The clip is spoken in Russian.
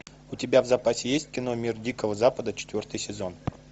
у тебя в запасе есть кино мир дикого запада четвертый сезон